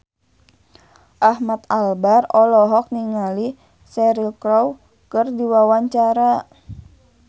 Ahmad Albar olohok ningali Cheryl Crow keur diwawancara